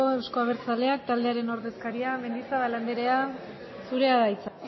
euzko abertzaleak taldearen ordezkaria mendizabal andrea zurea da hitza